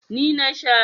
Ni na sha.